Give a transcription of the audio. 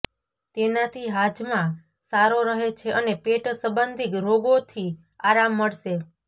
તેનાથી હાજમા સારો રહે છે અને પેટ સંબંધી રોગોથી આરામ મળશે